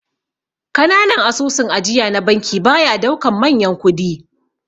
Kananan asusun ajiya na banki baya daukan manyan kudi.